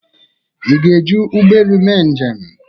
ị ga-eji ụgbọ elu mee njem?